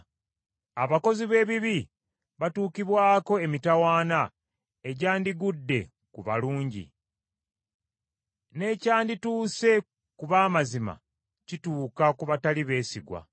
Abakozi b’ebibi batuukibwako emitawaana egyandigudde ku balungi, n’ekyandituuse ku b’amazima kituuka ku batali beesigwa.